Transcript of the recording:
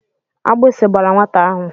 Agbisi gbara nwata ahụ.